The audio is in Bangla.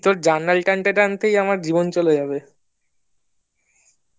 তোর balance টানতে টানতেই জীবন চলে যাবে